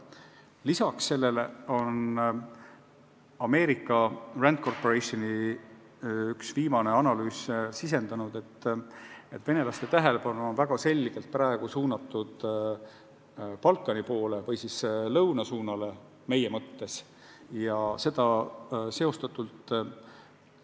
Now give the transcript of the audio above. Lisaks sellele on üks viimaseid Ameerika RAND Corporationi analüüse viidanud, et venelaste tähelepanu on väga selgelt suunatud Balkani poole ehk siis meie mõistes lõunasuunale.